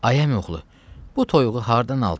Ay əmioğlu, bu toyuğu hardan aldın?